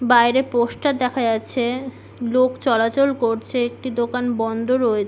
বাহিরে পোস্টার দেখা যাচ্ছে। লোক চলাচল করছে। একটি দোকান বন্ধ রয়ে --